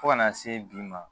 Fo ka n'a se bi ma